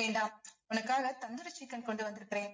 வேண்டாம் உனக்காக தந்துரி சிக்கன் கொண்டு வந்திருக்கிறேன்